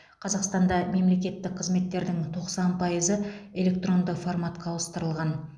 қазақстанда мемлекеттік қызметтердің тоқсан пайызы электронды форматқа ауыстырылған